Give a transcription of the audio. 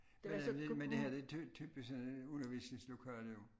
Men det her det jo typisk sådan et undervisningslokale